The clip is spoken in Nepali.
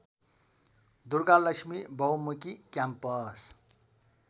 दुर्गालक्ष्मी बहुमुखी क्याम्पस